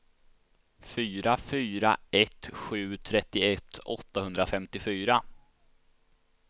fyra fyra ett sju trettioett åttahundrafemtiofyra